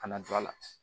Ka na don a la